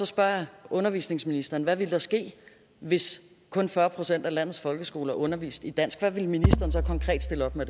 spørger jeg undervisningsministeren hvad ville der ske hvis kun fyrre procent af landets folkeskoler underviste i dansk hvad ville ministeren så konkret stille op med